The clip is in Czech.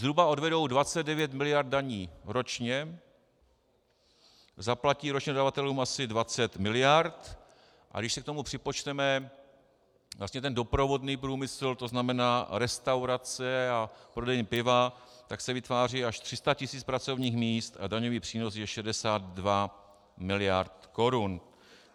Zhruba odvedou 29 miliard daní ročně, zaplatí ročně dodavatelům asi 20 miliard, a když si k tomu připočteme vlastně ten doprovodný průmysl, to znamená restaurace a prodejny piva, tak se vytváří až 300 tisíc pracovních míst a daňový přínos je 62 miliard korun.